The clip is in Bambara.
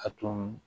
A to